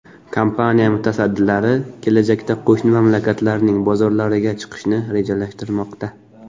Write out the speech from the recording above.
Kompaniya mutasaddilari kelajakda qo‘shni mamlakatlarning bozorlariga chiqishni rejalashtirmoqda.